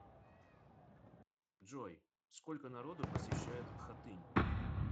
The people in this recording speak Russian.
джой сколько народу посещает хатынь